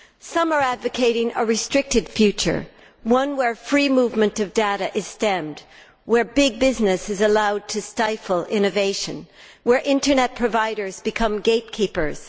Some are advocating a restricted future, one where free movement of data is stemmed, where big business is allowed to stifle innovation, and where Internet providers become gate keepers.